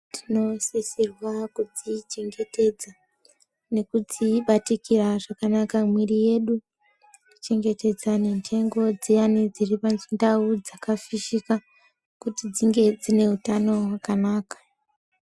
Tinosisirwa kudzichengetedza nekudzibatikira zvakanaka mwiri yedu kuchengetedza ndengo dziyani dziri pandau dzakafishika Kuti dzinge dzine hutano hwakanaka.